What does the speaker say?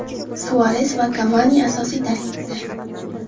Suares va Kavani asosiy tarkibda.